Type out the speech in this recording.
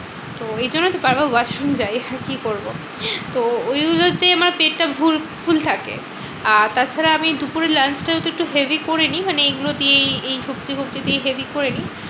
তো ঐজন্য তো বারবার washroom যাই। কি করবো? তো ঐগুলোতে আমার পেটটা full full থাকে। আর তাছাড়া আমি দুপুরের lunch টা একটু heavy করে নিই। মানে এগুলো দিয়েই এই সবজি ফোবজি দিয়েই heavy করে নিই।